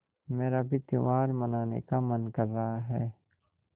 मेरा भी त्यौहार मनाने का मन कर रहा है